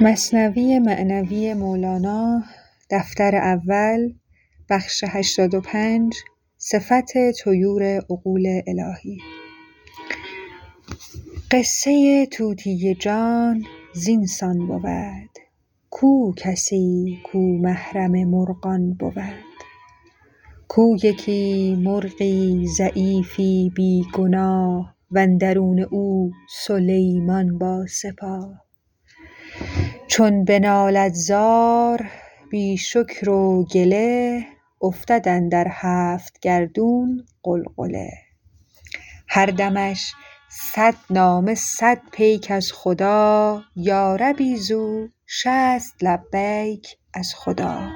قصه طوطی جان زین سان بود کو کسی کو محرم مرغان بود کو یکی مرغی ضعیفی بی گناه و اندرون او سلیمان با سپاه چون به نالد زار بی شکر و گله افتد اندر هفت گردون غلغله هر دمش صد نامه صد پیک از خدا یا ربی زو شصت لبیک از خدا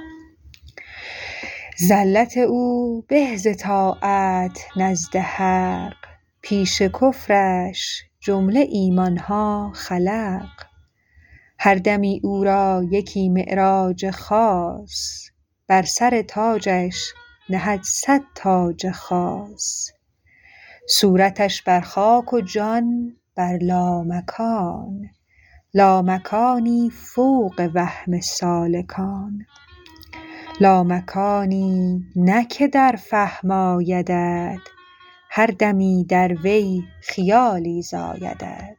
زلت او به ز طاعت نزد حق پیش کفرش جمله ایمانها خلق هر دمی او را یکی معراج خاص بر سر تاجش نهد صد تاج خاص صورتش بر خاک و جان بر لامکان لامکانی فوق وهم سالکان لامکانی نه که در فهم آیدت هر دمی در وی خیالی زایدت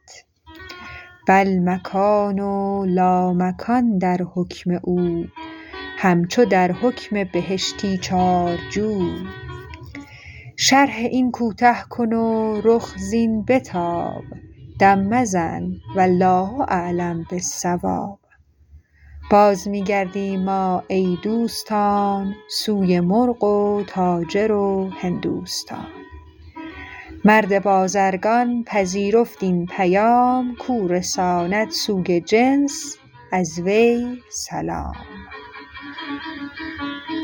بل مکان و لامکان در حکم او همچو در حکم بهشتی چار جو شرح این کوته کن و رخ زین بتاب دم مزن والله اعلم بالصواب باز می گردیم ما ای دوستان سوی مرغ و تاجر و هندوستان مرد بازرگان پذیرفت این پیام کو رساند سوی جنس از وی سلام